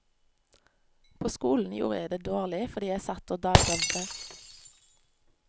På skolen gjorde jeg det dårlig fordi jeg satt og dagdrømte.